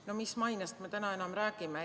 No mis mainest me täna enam räägime!